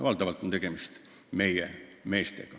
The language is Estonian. Valdavalt peetakse silmas meid, mehi.